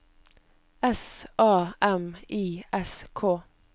S A M I S K